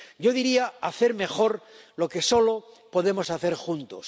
Yo diría hacer mejor lo que solo podemos hacer juntos.